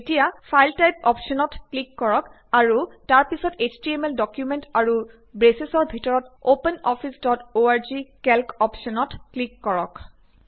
এতিয়া file type অপ্শ্বনত click কৰক আৰু তাৰ পিছত এছটিএমএল ডকুমেন্ট আৰু ব্ৰেচৰ ভিতৰত open office dot org calc অপ্শ্বনত ক্লিক কৰক